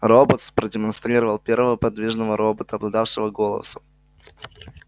роботс продемонстрировал первого подвижного робота обладавшего голосом